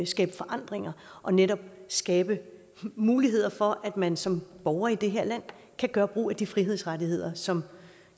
skabe forandringer og netop skabe muligheder for at man som borger i det her land kan gøre brug af de frihedsrettigheder som